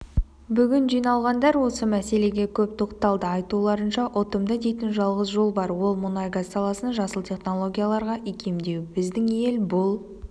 бүгін жиналғандар осы мәселеге көп тоқталды айтуларынша ұтымды дейтін жалғыз жол бар ол мұнай-газ саласын жасыл технологияларға икемдеу біздің ел бұл